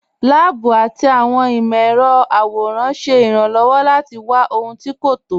Láàbù àti awọn imọ̀-ẹrọ̀ àwòràn ṣẹ́ ìràn-lọ́wọ́ láti wà ọhun tí́ kò tọ́.